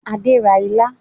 Adé ra ilá